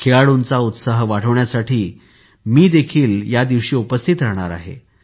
खेळाडूंचा उत्साह वाढविण्यासाठी यादिवशी मी देखील उपस्थित राहणार आहे